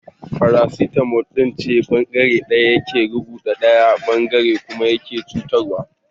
Paraticism dangantaka ce da bangare daya yake karuwa daya bangaren kuma yake cutuwa.